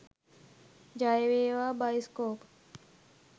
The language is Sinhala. ජය වේවා බයිස්කෝප්